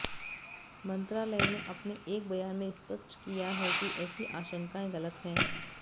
मंत्रालय ने अपने एक बयान में स्पष्ट किया है कि ऐसी आशंकाएं गलत हैं